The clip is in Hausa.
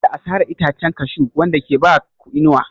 Kada a sare itacen Cashew wanda ke ba ku inuwa.